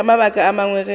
ka mabaka a mangwe ge